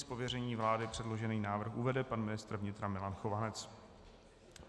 Z pověření vlády předložený návrh uvede pan ministr vnitra Milan Chovanec.